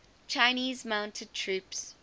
chinese mounted troops